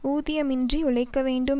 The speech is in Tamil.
ஊதியமின்றி உழைக்கவேண்டும்